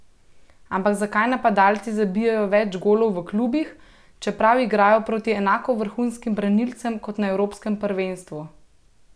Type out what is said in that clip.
Ampak zakaj napadalci zabijejo več golov v klubih, čeprav igrajo proti enako vrhunskim branilcem kot na evropskem prvenstvu?